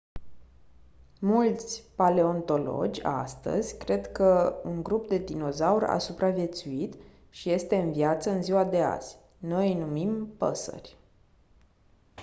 mulți paleontologi astăzi cred că un grup de dinozauri a supraviețuit și este în viață în ziua de azi noi îi numim păsări